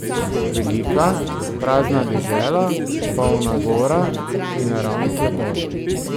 Velika, prazna dežela, polna gora in naravnih lepot.